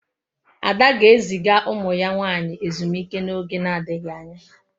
Ada ga-eziga umu ya nwanyi ezumike n'oge na-adighi anya